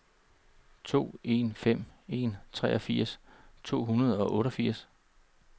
to en fem en treogfirs to hundrede og otteogfirs